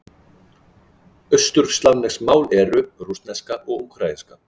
Austurslavnesk mál eru: rússneska og úkraínska.